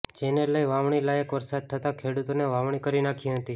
જેને લઈ વાવણી લાયક વરસાદ થતા ખેડૂતોને વાવણી કરી નાંખી હતી